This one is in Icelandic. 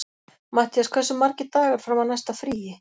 Mattías, hversu margir dagar fram að næsta fríi?